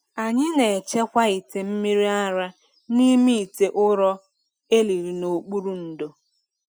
Anyị na-echekwa ite mmiri ara n’ime ite ụrọ e liri n’okpuru ndo.